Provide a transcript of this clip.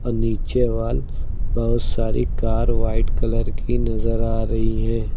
नीचे वाल बहुत सारी कार व्हाइट कलर की नजर आ रही है।